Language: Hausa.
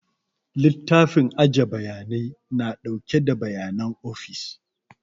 Littafin aje bayanai na ɗauke da bayanan ofis